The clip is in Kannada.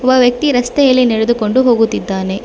ಒಬ್ಬ ವ್ಯಕ್ತಿ ರಸ್ತೆಯಲ್ಲಿ ನಡೆದುಕೊಂಡು ಹೋಗುತ್ತಿದ್ದಾನೆ.